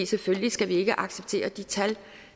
selvfølgelig skal vi ikke acceptere de tal